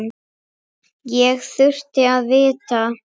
Ég þurfti að vinna.